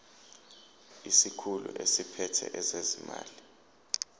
isikhulu esiphethe ezezimali